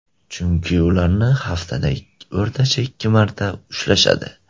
Chunki ularni haftada o‘rtacha ikki marta ushlashadi.